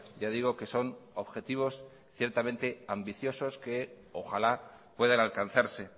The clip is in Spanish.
ya digo que son objetivos ciertamente ambiciosos que ojalá puedan alcanzarse